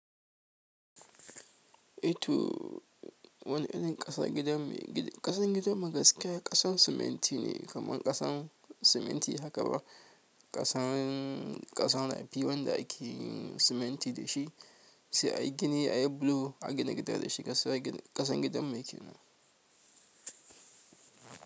E, to wani irin ƙasan gidan mu? Gid, ƙasan gidan mu gaskiya ƙasan siminti ne kaman ƙasan siminti haka ba ƙasan, ƙasan zafi wanda ake yin siminti dashi sai ayi gini ayi bulo a gina gida dashi a sawa ginin ƙasan gidan mu kenan.